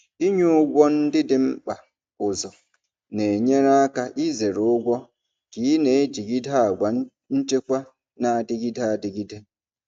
Ịnye ụgwọ ndị dị mkpa ụzọ na-enyere aka izere ụgwọ ka ị na-ejigide àgwà nchekwa na-adịgide adịgide.